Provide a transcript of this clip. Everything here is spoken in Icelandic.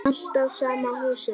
Alltaf sama húsinu.